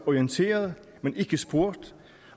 orienteret men ikke spurgt